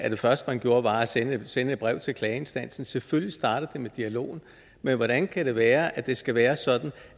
og det første man gjorde var at sende sende et brev til klageinstansen så selvfølgelig starter det med dialogen men hvordan kan det være at det skal være sådan